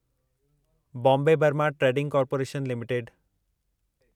Bombay Burma trading corporation limited